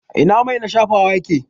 Ina mai na shafawa yake?